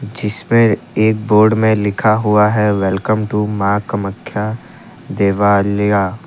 जिसपे एक बोर्ड में लिखा हुआ है वेलकम टू मां कामाख्या देवालया।